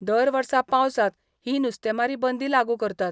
दर वर्सा पावसांत ही नुस्तेमारी बंदी लागू करतात.